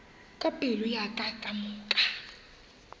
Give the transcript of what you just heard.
ka pelo ya ka kamoka